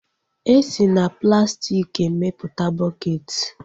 E si na plastiki mepụta bọkeeti